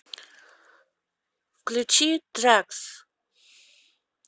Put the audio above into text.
включи трэкс